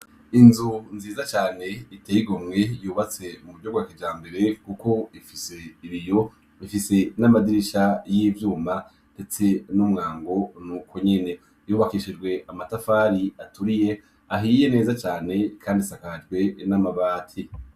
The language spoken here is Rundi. Inzu nziza cane iteye igomwe yubatse mu buryo bwa kijambere, kuko ifise ibiyo, ifise n'amadirisha y'ivyuma, ndetse n'umwango n'uko nyene, yubakishijwe amatafari aturiye, ahiye neza cane kandi isakajwe n'amabati.